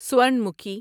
سورن مکھی